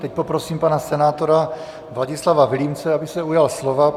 Teď poprosím pana senátora Vladislava Vilímce, aby se ujal slova.